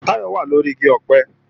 Táyọ̀ wà lóri igi ọ̀pẹ